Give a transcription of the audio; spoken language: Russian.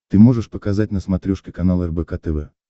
ты можешь показать на смотрешке канал рбк тв